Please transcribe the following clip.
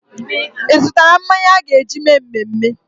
Ị zụtaala mmanya a ga-eji mee mmemme?